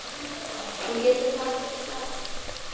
Þú getur falið hann inni á.